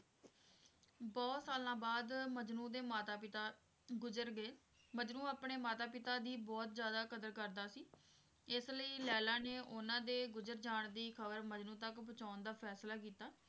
ਬਹੁਤ ਸਾਲਾਂ ਬਾਅਦ ਮਜਨੂੰ ਦੇ ਮਾਤਾ ਪਿਤਾ ਗੁਜਰ ਗਏ, ਮਜਨੂੰ ਆਪਣੇ ਮਾਤਾ ਪਿਤਾ ਦੀ ਬਹੁਤ ਜ਼ਿਆਦਾ ਕਦਰ ਕਰਦਾ ਸੀ ਇਸ ਲਈ ਲੈਲਾ ਨੇ ਉਹਨਾਂ ਦੇ ਗੁਜਰ ਜਾਣ ਦੀ ਖਬਰ ਮਜਨੂੰ ਤੱਕ ਪਹੁੰਚਾਉਣ ਦਾ ਫੈਸਲਾ ਕੀਤਾ।